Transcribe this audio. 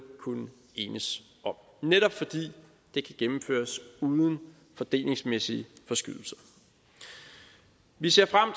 kunne enes om netop fordi det kan gennemføres uden fordelingsmæssige forskydelser vi ser frem